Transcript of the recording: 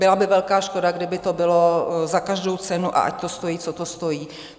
Byla by velká škoda, kdyby to bylo za každou cenu a ať to stojí, co to stojí.